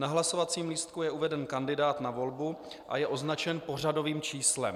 Na hlasovacím lístku je uveden kandidát na volbu a je označen pořadovým číslem.